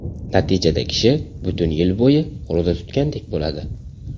Natijada, kishi butun yil bo‘yi ro‘za tutgandek bo‘ladi.